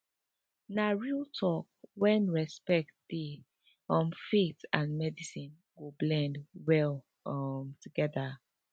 na real talk when respect dey um faith and medicine go blend well um together